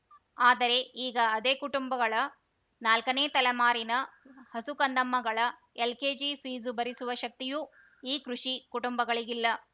ಆದರೆ ಈಗ ಅದೇ ಕುಟುಂಬಗಳ ನಾಲ್ಕನೇ ತಲೆಮಾರಿನ ಹಸುಕಂದಮ್ಮಗಳ ಎಲ್‌ಕೆಜಿ ಫೀಸು ಭರಿಸುವ ಶಕ್ತಿಯೂ ಈ ಕೃಷಿ ಕುಂಟುಂಬಗಳಿಗಿಲ್ಲ